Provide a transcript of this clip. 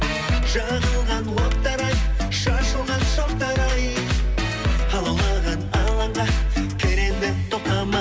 жағылған оттар ай шашылған шоқтар ай алаулаған алаңға кел енді